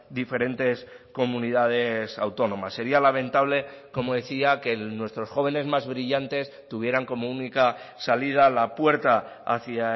diferentes comunidades autónomas sería lamentable como decía que nuestros jóvenes más brillantes tuvieran como única salida la puerta hacia